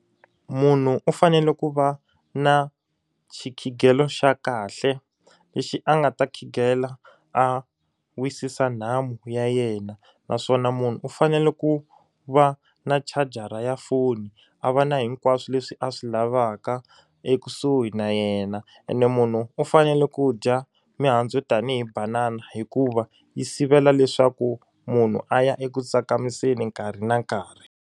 Munhu u fanele ku va na xikhigelo xa kahle lexi a nga ta khingela a wisisa nhamu ya yena naswona munhu u fanele ku va na chajara ya foni a va na hinkwaswo leswi a swi lavaka ekusuhi na yena ene munhu u fanele ku dya mihandzu tanihi banana hikuva yi sivela leswaku munhu a ya eku tsakamiseni nkarhi na nkarhi.